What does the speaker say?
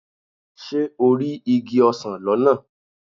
Ṣé o rí igi ọsán lọ́nà?